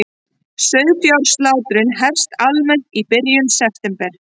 Sauðfjárslátrun hefst almennt í byrjun september